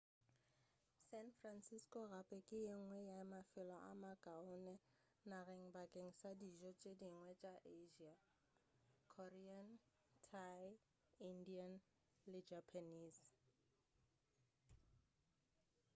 san francisco gape ke yengwe ya mafelo a makaone nageng bakeng sa dijo tše dingwe tša asia korean thai indian le japanese